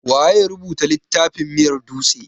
Waya rubuta littafin miyar dutse?